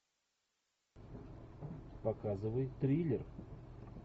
показывай триллер